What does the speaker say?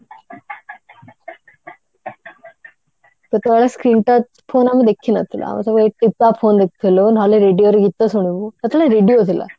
ସେତେବେଳେ screen touch phone ଆମେ ଦେଖିନଥିଲୁ ଆମେ ସବୁ ଏଇ ଟିପା phone ଦେଖୁଥିଲୁ ନହେଲେ radio ରେ ଗୀତ ଶୁଣିବୁ ସେତେବେଳେ radio ଥିଲା